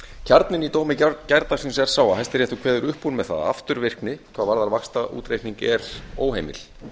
kjarninn í dómi gærdagsins er sá að hæstiréttur kveður upp úr með það að afturvirkni hvað varðar vaxtaútreikning er óheimill